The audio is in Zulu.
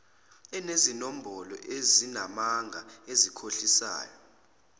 enezinombolo ezingamanga ezikhohlisayo